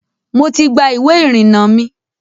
Mo ti gba iwé ìrìnà mi.